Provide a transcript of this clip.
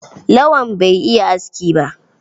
Lawan bai iya aski ba.